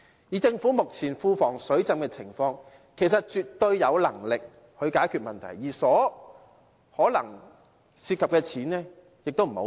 以政府目前庫房"水浸"的情況，其實絕對有能力解決這問題，而涉及的金錢可能也不多。